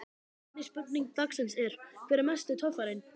Seinni spurning dagsins er: Hver er mesti töffarinn?